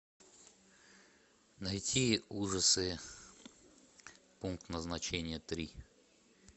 найти ужасы пункт назначения три